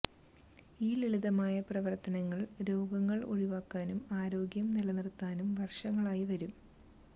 ഈ ലളിതമായ പ്രവർത്തനങ്ങൾ രോഗങ്ങൾ ഒഴിവാക്കാനും ആരോഗ്യം നിലനിർത്താനും വർഷങ്ങളായി വരും